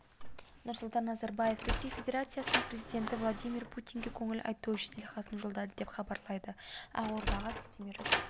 нұрсұлтан назарбаев ресей федерациясының президенті владимир путинге көңіл айту жеделхатын жолдады деп хабарлайды ақордаға сілтеме жасап